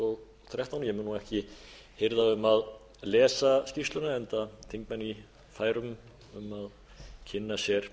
og þrettán ég mun ekki hirða um að lesa skýrsluna enda þingmenn í færum um að kynna sér